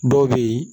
Dɔw bɛ yen